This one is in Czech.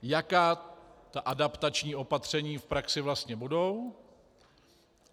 Jaká ta adaptační opatření v praxi vlastně budou?